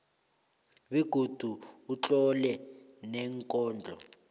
begodu utlole neenkondlo